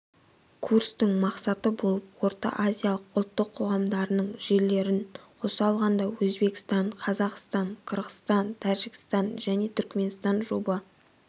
курстын мақсаты болып орта-азиялық ұлттық қоғамдарының жерлерің қоса алғанда өзбекстан қазақстан қырғызстан тәжікстан және түрікменстан жоба